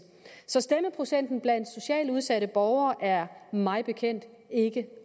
stemmeprocenten blandt socialt udsatte borgere er mig bekendt ikke